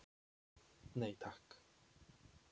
Nei takk.